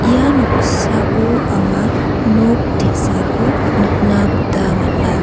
ia noksao anga nok te·sako nikna gita man·a.